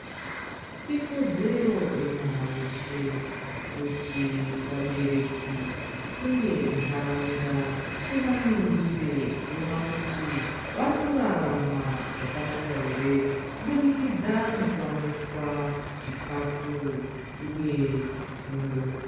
Ikodzero yemwana weshe kuti vabereki uye ndaraunda iva ningire voona kuti vari kurarama zvakanaka here, kubudikidzwa nekuwaniswa chikafu uye fundo.